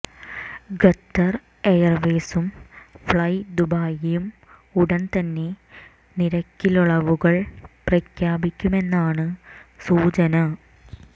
Qatar എയർവെയ്സും fly ദുബായിയും ഉടൻ തന്നെ നിരക്കിളവുകൾ പ്രഖ്യാപിക്കുമെന്നാണ് സൂചന